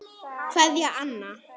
Kveðja, Anna.